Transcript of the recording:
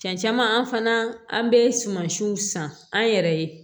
Cɛncɛn an fana an bɛ sumansiw san an yɛrɛ ye